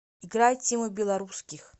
играй тиму белорусских